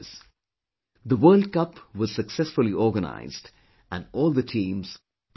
The world cup was successfully organized and all the teams performed their best